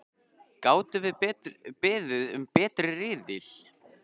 Gátum við beðið um betri riðil?!